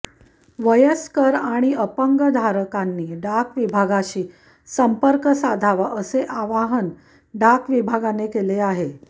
वयस्कर आणि अंपग धारकांनी डाक विभागाशी संपर्क साधावा असे अवाहन डाक विभागाने केले आहे